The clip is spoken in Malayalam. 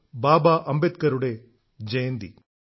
ബാബ അംബേദ്കറുടെ ജയന്തി